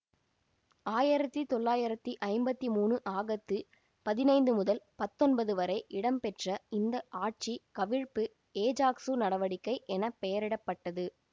ஆயிரத்தி தொள்ளாயிரத்தி ஐம்பத்தி மூனு ஆகத்து பதினைந்து முதல் பத்தொன்பது வரை இடம்பெற்ற இந்த ஆட்சி கவிழ்ப்பு ஏஜாக்சு நடவடிக்கை என பெயரிட பட்டது